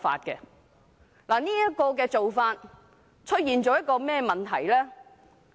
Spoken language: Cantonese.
這個做法會產生甚麼問題？